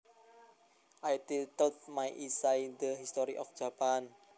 I titled my essay The History of Japan